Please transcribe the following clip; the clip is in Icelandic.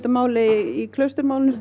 máli í